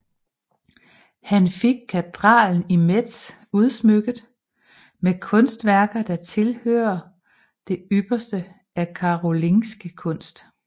Han fik katedralen i Metz udsmykket med kunstværker der tilhører det ypperste af karolingisk kunst